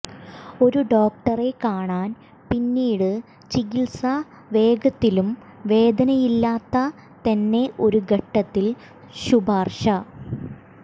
ഒരു ഡോക്ടറെ കാണാൻ പിന്നീട് ചികിത്സ വേഗത്തിലും വേദനയില്ലാത്ത തന്നെ ഒരു ഘട്ടത്തിൽ ശുപാർശ